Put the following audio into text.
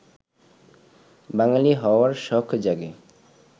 বাঙালি হওয়ার শখ জাগে